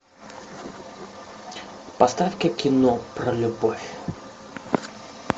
поставь ка кино про любовь